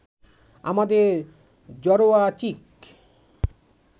আমাদের জড়োয়া চিক